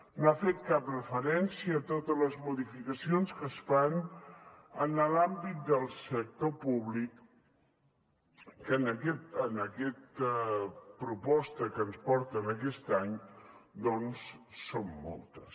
no ha fet cap referència a totes les modificacions que es fan en l’àmbit del sector públic que en aquesta proposta que ens porten aquest any doncs són moltes